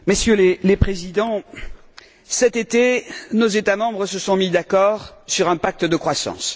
Messieurs les Présidents, cet été, nos États membres se sont mis d'accord sur un pacte de croissance.